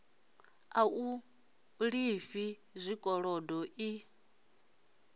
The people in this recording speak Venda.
a u lifha zwikolodo i